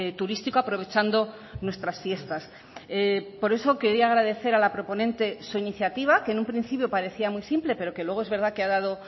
turístico aprovechando nuestras fiestas por eso quería agradecer a la proponente su iniciativa que en un principio parecía muy simple pero que luego es verdad que ha dado